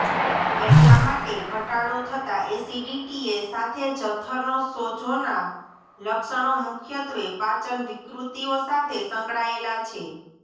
એટલા માટે ઘટાડો થતા એસિડિટીએ સાથે જઠરનો સોજોના લક્ષણો મુખ્યત્વે પાચન વિકૃતિઓ સાથે સંકળાયેલા છે